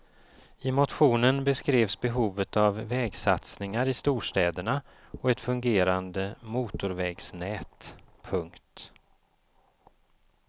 I motionen beskrevs behovet av vägsatsningar i storstäderna och ett fungerande motorvägsnät. punkt